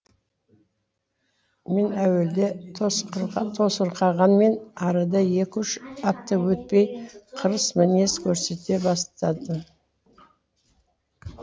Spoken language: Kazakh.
мен әуелде тосырқағанмен арада екі үш апта өтпей қырыс мінез көрсете бастадым